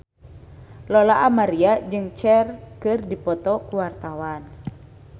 Lola Amaria jeung Cher keur dipoto ku wartawan